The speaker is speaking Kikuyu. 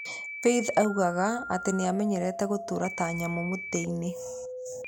Faith oigaga atĩ nĩ aamenyerete "gũtũũra ta nyamũ mũtitũ-inĩ".